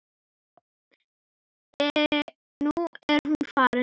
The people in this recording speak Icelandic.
Nú er hún farin.